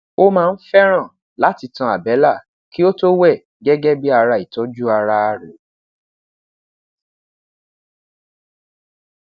o maa n n fẹran lati tan abẹla ki o to wẹ gẹgẹ bi ara itọju ara rẹ